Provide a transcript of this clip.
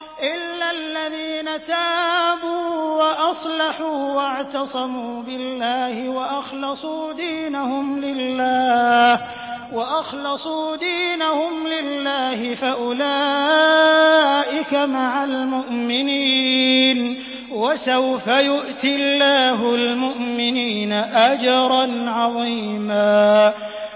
إِلَّا الَّذِينَ تَابُوا وَأَصْلَحُوا وَاعْتَصَمُوا بِاللَّهِ وَأَخْلَصُوا دِينَهُمْ لِلَّهِ فَأُولَٰئِكَ مَعَ الْمُؤْمِنِينَ ۖ وَسَوْفَ يُؤْتِ اللَّهُ الْمُؤْمِنِينَ أَجْرًا عَظِيمًا